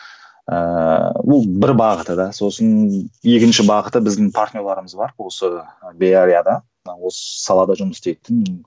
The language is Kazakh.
ыыы ол бір бағыты да сосын екінші бағыты біздің партнерларымыз бар осы беарияда мына осы салада жұмыс істейтін